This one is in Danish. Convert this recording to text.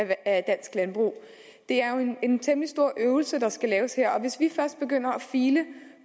at det er en temmelig stor øvelse der skal laves og hvis vi først begynder at file